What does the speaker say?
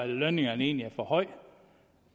lønningerne egentlig er for høje